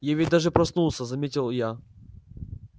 я ведь даже проснулся заметил я